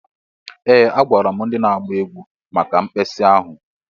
Ee! Agwara m ndị na-agba egwu maka mkpesa ahụ.